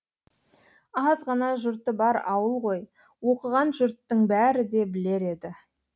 аз ғана жұрты бар ауыл ғой оқыған жұрттың бәрі де білер еді